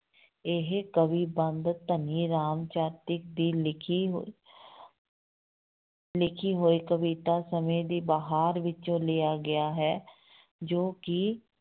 ਇਹ ਕਵੀ ਬੰਧ ਧਨੀ ਰਾਮ ਚਾਤ੍ਰਿਕ ਦੀ ਲਿਖੀ ਹੋਈ ਲਿਖੀ ਹੋਈ ਕਵਿਤਾ ਸਮੇਂ ਦੀ ਬਹਾਰ ਵਿੱਚੋਂ ਲਿਆ ਗਿਆ ਹੈ, ਜੋ ਕਿ